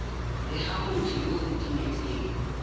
bega motho yo o timetseng